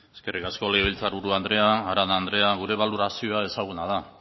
eskerrik asko legebiltzar buru andrea arana andrea gure balorazioa ezaguna da